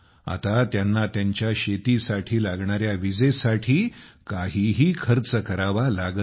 आता त्यांना त्यांच्या शेतीसाठी लागणाऱ्या विजेसाठी काहीही खर्च करावा लागत नाही